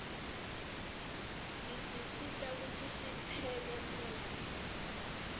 tisisita kutsi sipheke lula